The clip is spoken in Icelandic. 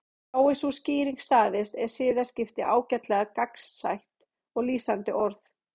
Fái sú skýring staðist er siðaskipti ágætlega gagnsætt og lýsandi orð.